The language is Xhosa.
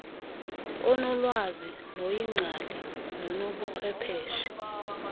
onolwazi noyingcali nonobuchwepheshe